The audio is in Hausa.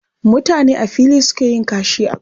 Mutane a fili suke yin kashi a ƙauyuka